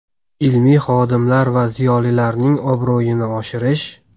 ilmiy xodimlar va ziyolilarning obro‘yini oshirish.